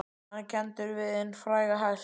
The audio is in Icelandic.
Hann er kenndur við hinn fræga hest